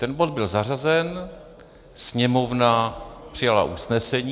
Ten bod byl zařazen, Sněmovna přijala usnesení.